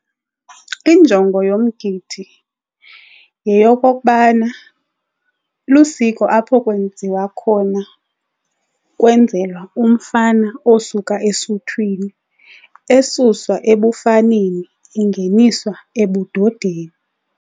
Injongo yomgidi yeyokokubana lusiko apho kwenziwa khona kwenzelwa umfana osuka esuthwini esuswa ebufaneni engeniswa ebudodeni.